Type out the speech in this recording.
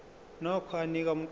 nokho anika umqondo